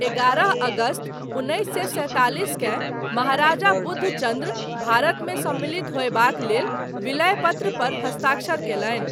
एगारह अगस्त उन्नैस सए सैंतालिसकेँ महाराजा बुधचन्द्र भारतमे सम्मिलित होयबाक लेल विलय पत्रपर हस्ताक्षर कयलनि।